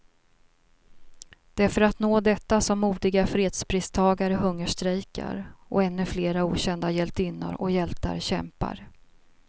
Det är för att nå detta som modiga fredspristagare hungerstrejkar, och ännu flera okända hjältinnor och hjältar kämpar.